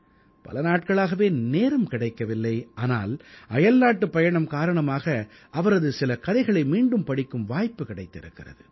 பல நாட்களாகவே நேரம் கிடைக்கவில்லை ஆனால் அயல்நாட்டுப் பயணம் காரணமாக அவரது சில கதைகளை மீண்டும் படிக்கும் வாய்ப்பு கிடைத்திருக்கிறது